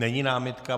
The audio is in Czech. Není námitka.